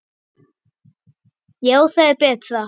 Já, það er betra.